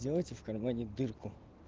сделайте в кармане дырку